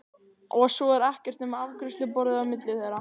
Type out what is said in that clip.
Og svo er ekkert nema afgreiðsluborðið á milli þeirra.